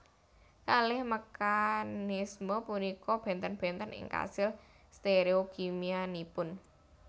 Kalih mekanisme punika benten benten ing kasil stereokimianipun